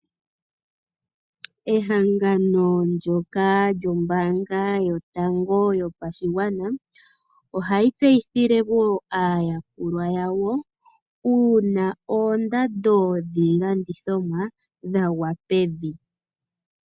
Ehangano ndyoka lyombaanga yotango yopashigwana, ohali tseyithile aayakulwa yawo, uuna oondando dhiilandithomwa dhagwa pevi.